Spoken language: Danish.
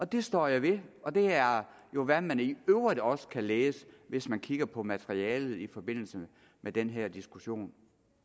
det står jeg ved og det er jo hvad man i øvrigt også kan læse hvis man kigger på materialet i forbindelse med den her diskussion